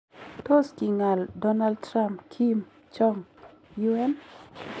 Tos king'al Donald Trump Kim Jong -Un?